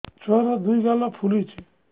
ଛୁଆର୍ ଦୁଇ ଗାଲ ଫୁଲିଚି